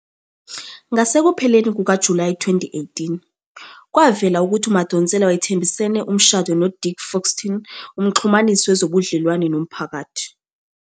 Ngasekupheleni kukaJulayi 2018, kwavela ukuthi uMadonsela wayethembisene umshado noDick Foxton, umxhumanisi wezobudlelwano nomphakathi.